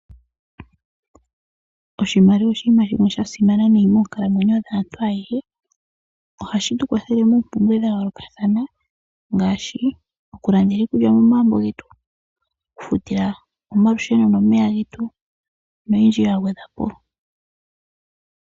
Oshimaliwa oshinima shimwe sha simana nayi moonkalamwenyo dhaantu ayehe. Ohashi tu kwathele moompumbwe dha yoolokathana ngaashi okulandela iikulya momagumbo getu, okufuta omalusheno nomeya getu noyindji yagwedhwa po.